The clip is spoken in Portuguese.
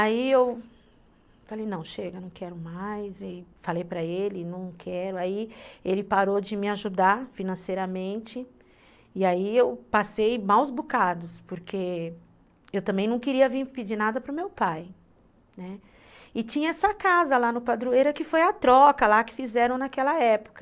aí eu falei não chega não quero mais e falei para ele não quero aí ele parou de me ajudar financeiramente e aí eu passei maus bocados porque eu também não queria vir pedir nada para o meu pai, né, e tinha essa casa lá no Padroeira, que foi a troca lá, que fizeram naquela época.